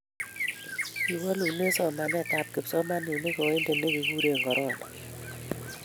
kiwolune somanetab kipsomaninik oindet ne kikuren korona